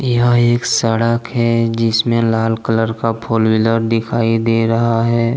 यह एक सड़क है जिसमे लाल कलर का फॉर व्हीलर दिखाई दे रहा हैं।